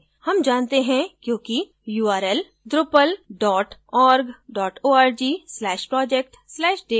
हम जानते हैं क्योंकि url drupal dot org slash project slash date है